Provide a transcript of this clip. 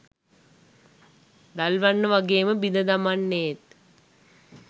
දල්වන්න වගේම බිඳ දමන්නේත්